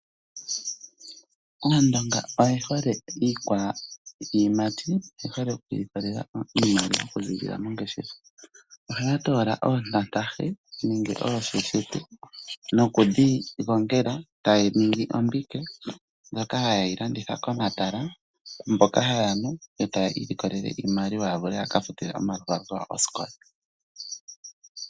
Aandonga oye hole iikwayimati, oye hole okwiilikolela iimaliwa okuziilila mongeshefa. Ohaya toola oontantahe nenge oosheshete nokudhi gongela tadhi ningi ombike ndjoka haye yi landitha komatala, mboka haya nu etaya iilikolele mo iimaliwa yawo yaka futile omakwatho kosikola.